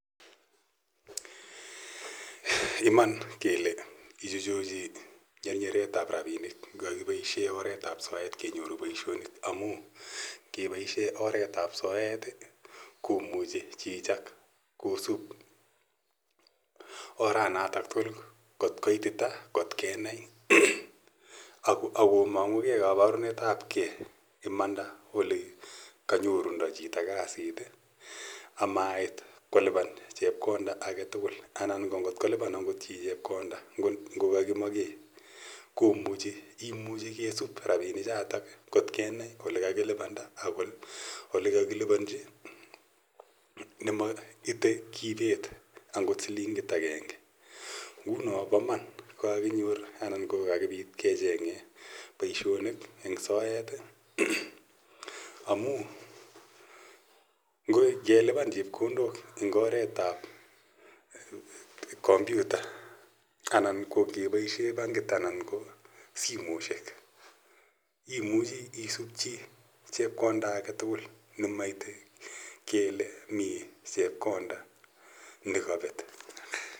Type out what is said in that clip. Iman kele ichcuchuchi nyernyeret ap rapinik ngakipaishe oretap soet kenyoru poishonik amu kepaishe oret ap ap soet komuchi chichotok kosup oranatak tugul kot koitita kot kenai ak komang'ugei kaparunetap ge imanda ole kanorundo chito kasit amaitt kolipan chepkonda age tugul . Anan kot ngo lipan agot chi chepkonda ngo kakikamake, komuchi kisup rapinichotok kot kenai ole kalilipanda ak ole kakilipanchi ne maite kipet angot silingit agenge. Nguno pa mam ko kakinyor anan kecheng'e poishonik eng' soet amu ngelipan chepkondok eng' oret ap kompyuta anan ko ngepaishe bankit anan ko simoshek. Imuchi isup chi chepkonda age tugul ne maite kele mi chepkonda ne kapet.